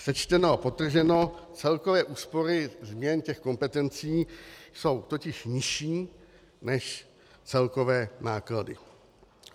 Sečteno a podtrženo, celkové úspory změn těch kompetencí jsou totiž nižší než celkové náklady.